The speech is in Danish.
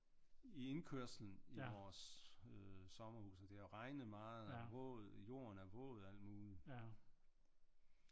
I indkørslen i vores sommerhus og det havde regnet meget og jorden er våd og alt muligt